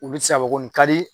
U bɛ se ka fɔ ko nin ka di.